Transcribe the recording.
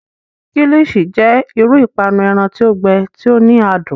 Kilichi jẹ iru ipanu ẹran ti o gbẹ, ti o ni adun.